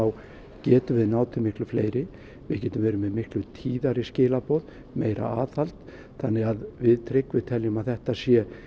getum við náð til miklu fleiri við getum verið miklu tíðari skilaboð meira aðhald þannig að við Tryggvi teljum að þetta sé